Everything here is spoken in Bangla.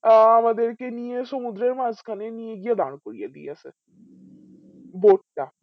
আ আমাদেরকে নিয়ে সমুদ্রের মাঝখানে নিয়ে গিয়ে দার করিয়ে দিয়েছে boat টা